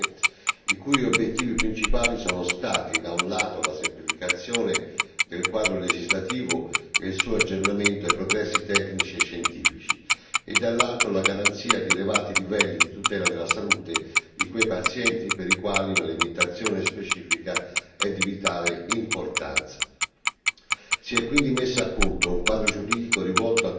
Si conclude così un intenso e complesso processo negoziale, i cui obiettivi principali sono stati, da un lato, la semplificazione del quadro legislativo e il suo aggiornamento ai progressi tecnici e scientifici e, dall'altro, la garanzia di elevati livelli di tutela della salute di quei pazienti, per i quali una limitazione specifica è di vitale importanza.